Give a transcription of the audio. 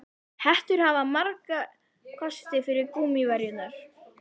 Hettur hafa marga kosti fram yfir gúmmíverjurnar.